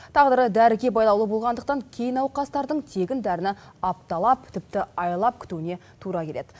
тағдыры дәріге байлаулы болғандықтан кей науқастардың тегін дәріні апталап тіпті айлап күтуіне тура келеді